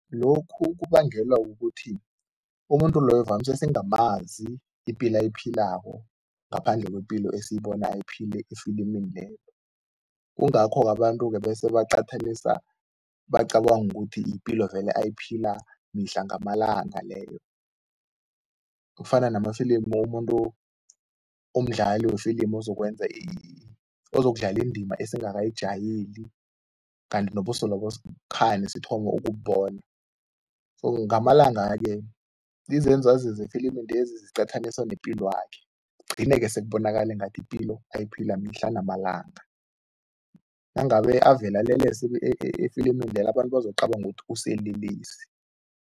Lokhu kubangelwa kukuthi, umuntu loyo vamise singamazi ipilo ayiphilako ngaphandle kwepilo esiyibona ayiphila efilimini leyo. Kungakho-ke abantu-ke bese baqathanisa, bacabange ukuthi yipilo vele ayiphila mihla ngamalanga leyo. Kufana namafilimu umuntu omdlali wefilimu ozokwenza ozokudlala indima esingakajayeli, kanti nobuso lobo kukhani sithoma ukububona, so ngamalanga-ke izenzo azenze efilimini lezi eziqathaniswa nepilwakhe, kugcine-ke sekubonakale ngathi yipilo ayiphila mihla namalanga. Nangabe avele alelesa efilimini lelo, abantu bazokucabanga ukuthi uselelesi.